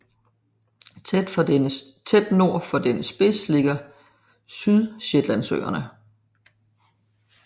Tæt nord for dennes spids ligger Sydshetlandsøerne